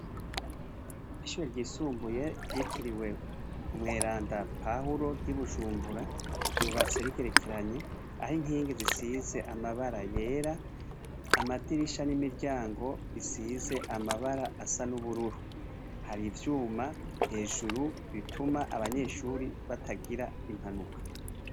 Ishure ryisumbuye, ryitiriwe umweranda Pawulo ry'i Bujumbura, ryubatse rigerekeranye, aho inkingi zisize amabara yera, amadirisha n'imiryango bisize amabara asa n'ubururu. Hari ivyuma hejuru bituma abanyeshuri batagira impanuka.